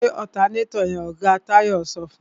Gbé ọ̀tanátọ̀ yẹn! Oga Táyé sọ fún.